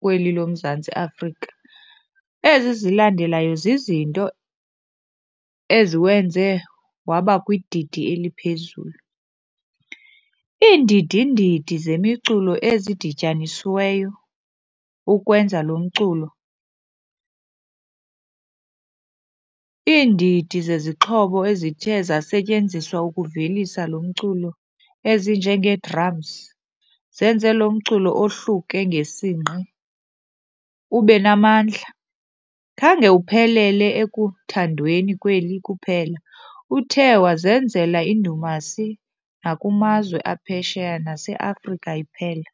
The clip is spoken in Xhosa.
kweli loMzantsi Afrika. Ezi zilandelayo zizinto eziwenze wabakwididi eliphezulu. Iindidi ndidi zemiculo ezidityanisiweyo ukwenza lo mculo, iindidi zezixhobo ezithe zasetyenziswa ukuvelisa lo mculo ezinjengee-drums zenze lo mculo ohluke ngesingqi, ube namandla. Khange uphelele ekuthandweni kweli kuphela, uthe wazenzela indumasi nakumazwe aphesheya naseAfrika iphela.